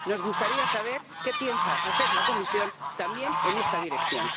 Nos gustaría saber qué piensa hacer la Comisión también en esta dirección.